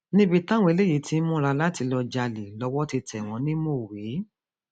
níbi táwọn eléyìí ti ń múra láti lọọ jalè lọwọ ti tẹ wọn ní mọwé